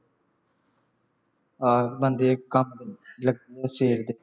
ਆ ਬਣਦੇ ਲੱਗੇ ਹੋਏ ਹਾਂ ਸਵੇਰ ਦੇ